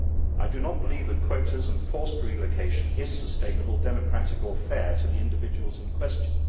I do not believe that quotas and forced relocation are sustainable, democratic or fair to the individuals in question.